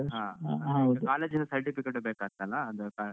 ಆ ಹೌದು ಆಮೇಲ್ ಇದ್ college ನ certificate ಟೂ ಬೇಕಂತಲ್ಲ .